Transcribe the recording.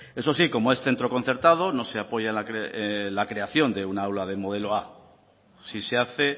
eso sí como es centro concertado no se apoya la creación de un aula del modelo a sí se hace